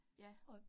Ja